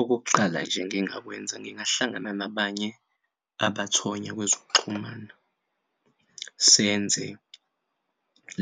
Okokuqala nje engingakwenza ngingahlangana nabanye abathonya kwezokuxhumana senze